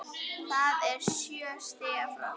Það er sjö stiga frost!